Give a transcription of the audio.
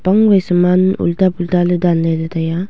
pangwai saman ulta pulta ley danley ley taiya.